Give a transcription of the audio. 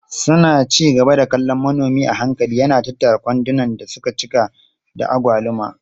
Suna ci gaba da kallon manomi a hankali yana tattara kwandunan da suka cika da agwaluma.